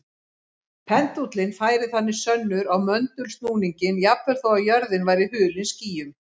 Pendúllinn færir þannig sönnur á möndulsnúninginn jafnvel þó að jörðin væri hulin skýjum.